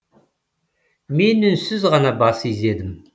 мен үнсіз ғана бас изедім